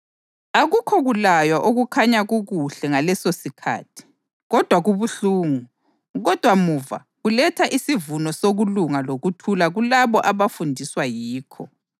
Akukho kulaywa okukhanya kukuhle ngalesosikhathi, kodwa kubuhlungu. Kodwa muva, kuletha isivuno sokulunga lokuthula kulabo abafundiswa yikho.